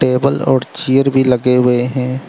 Table और chair भी लगे हुए हैं।